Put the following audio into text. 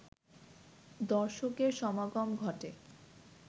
দর্শকের সমাগম ঘটে